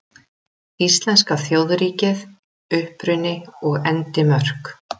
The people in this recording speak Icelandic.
Íslenska þjóðríkið: Uppruni og endimörk.